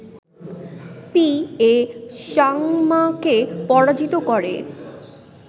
P A সাংমাকে পরাজিত করে